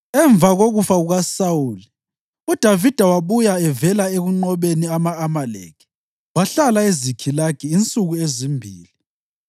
Emva kokufa kukaSawuli, uDavida wabuya evela ekunqobeni ama-Amaleki wahlala eZikhilagi insuku ezimbili.